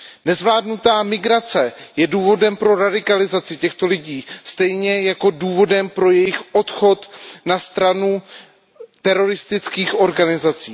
Nezvládnutá migrace je důvodem pro radikalizaci těchto lidí stejně jako důvodem pro jejich odchod na stranu teroristických organizací.